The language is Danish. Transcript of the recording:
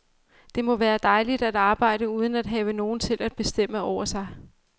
Det må være dejligt at arbejde uden at have nogen til at bestemme over sig.